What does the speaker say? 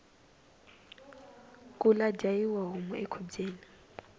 kula dyayiwa homu ekhubyeni